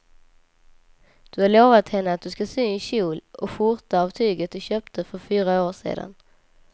Du har lovat henne att du ska sy en kjol och skjorta av tyget du köpte för fyra år sedan.